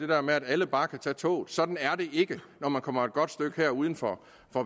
der med at alle bare kan tage toget sådan er det ikke når man kommer et godt stykke uden for